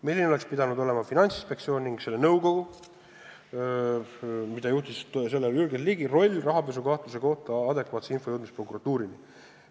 Milline oleks pidanud olema Finantsinspektsiooni ning selle nõukogu, mida juhtis sel ajal Jürgen Ligi, roll rahapesukahtluse kohta adekvaatse info jõudmises prokuratuurini?